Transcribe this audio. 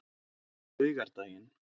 laugardaginn